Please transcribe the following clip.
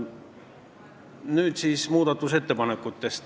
Nüüd muudatusettepanekutest.